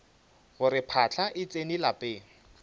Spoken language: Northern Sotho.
gore phahla e tsene lapeng